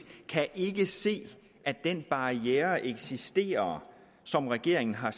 ikke kan se at den barriere eksisterer som regeringen har